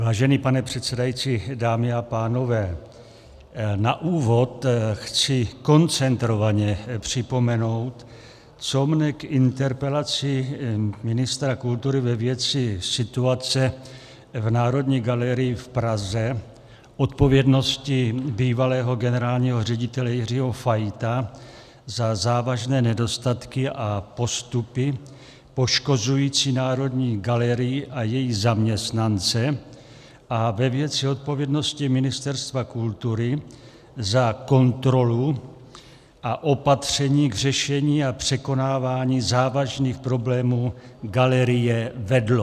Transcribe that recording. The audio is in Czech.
Vážený pane předsedající, dámy a pánové, na úvod chci koncentrovaně připomenout, co mě k interpelaci ministra kultury ve věci situace v Národní galerii v Praze, odpovědnosti bývalého generálního ředitele Jiřího Fajta za závažné nedostatky a postupy poškozující Národní galerii a její zaměstnance a ve věci odpovědnosti Ministerstva kultury za kontrolu a opatření k řešení a překonávání závažných problémů galerie vedlo.